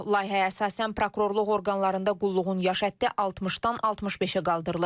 Layihəyə əsasən, prokurorluq orqanlarında qulluğun yaş həddi 60-dan 65-ə qaldırılır.